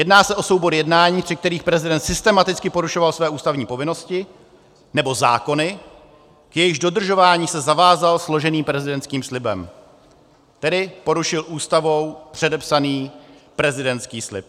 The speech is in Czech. Jedná se o soubor jednání, při kterých prezident systematicky porušoval své ústavní povinnosti nebo zákony, k jejichž dodržování se zavázal složeným prezidentským slibem, tedy porušil Ústavou předepsaný prezidentský slib.